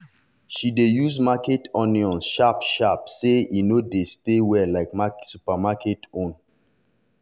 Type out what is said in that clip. she dey use market onion sharp-sharp say e no dey stay well like supermarket own.